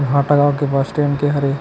हाटा गांव के पास ट्रेन के हरे।